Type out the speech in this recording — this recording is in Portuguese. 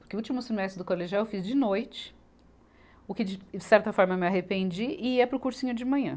Porque o último semestre do colegial eu fiz de noite, o que de certa forma me arrependi, e ia para o cursinho de manhã.